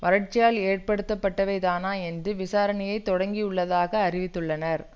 வரட்சியால் ஏற்படுத்தப்பட்டவைதானா என்று விசாரணையை தொடங்கியுள்ளதாக அறிவித்துள்ளனர்